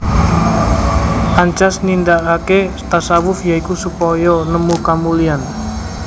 Ancas nindakaké tasawuf ya iku supaya nemu kamulyan